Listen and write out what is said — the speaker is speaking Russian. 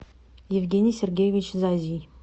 евгений сергеевич зазий